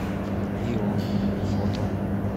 ион фото